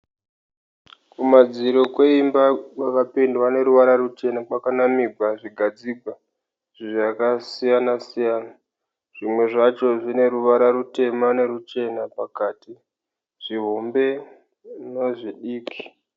Kumadziro kweimba kwakapendwa neruvara ruchena kwakanamigwa zvigadzigwa zvakasiyana siyana, zvimwe zvacho zvine ruvara rutema neruchena pakati zvihombe nezvidiki.